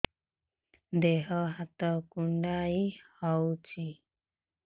ଦେହ ହାତ କୁଣ୍ଡାଇ ହଉଛି